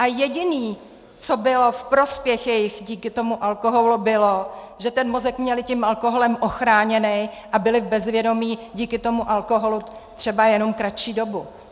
A jediné, co bylo v prospěch jejich díky tomu alkoholu, bylo, že ten mozek měli tím alkoholem ochráněný a byli v bezvědomí díky tomu alkoholu třeba jenom kratší dobu.